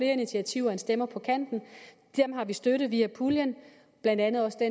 initiativer end stemmer på kanten dem har vi støttet via puljen blandt andet også det